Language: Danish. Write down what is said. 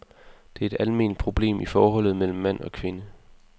Det er et alment problem i forholdet mellem mand og kvinde.